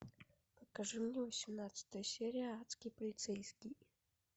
покажи мне восемнадцатая серия адский полицейский